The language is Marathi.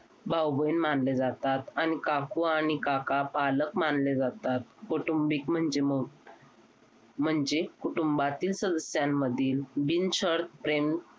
भाऊ बहीण मानले जातात आणि काकू आणि काका पालक मानले जातात कौटुंबिक म्हणजे मग म्हणजे कुटुंबातील सदस्यांमधील बिनशर्त प्रेम